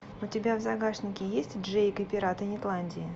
у тебя в загашнике есть джейк и пираты нетландии